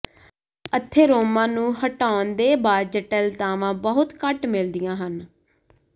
atheroma ਨੂੰ ਹਟਾਉਣ ਦੇ ਬਾਅਦ ਜਟਿਲਤਾਵਾਂ ਬਹੁਤ ਘੱਟ ਮਿਲਦੀਆਂ ਹਨ